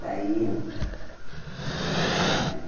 Saíam. Eh eh